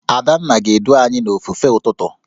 Adanna ga-edu anyị n'ofufe ụtụtụ